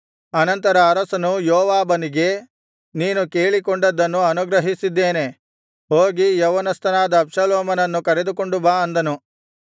ಅನಂತರ ಅರಸನು ಯೋವಾಬನಿಗೆ ನೀನು ಕೇಳಿಕೊಂಡದ್ದನ್ನು ಅನುಗ್ರಹಿಸಿದ್ದೇನೆ ಹೋಗಿ ಯೌವನಸ್ಥನಾದ ಅಬ್ಷಾಲೋಮನನ್ನು ಕರೆದುಕೊಂಡು ಬಾ ಅಂದನು